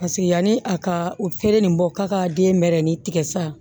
Paseke yanni a ka u feere nin bɔ k'a ka den mɛɛrɛnin tigɛ sisan